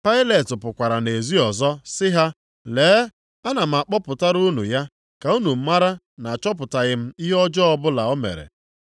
Pailet pụkwara nʼezi ọzọ sị ha, “Lee, ana m akpọpụtara unu ya, ka unu mara na achọpụtaghị m ihe ọjọọ ọbụla o mere.”